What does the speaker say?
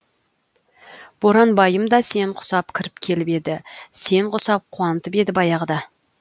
боранбайым да сен құсап кіріп келіп еді сен құсап қуантып еді баяғыда